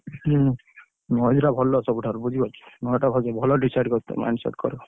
ହୁଁ ଟା ଭଲ ସବୁଠାରୁ ବୁଝିପାରୁଛ ଟା ଭଲ decide କରିଛ କରିବ।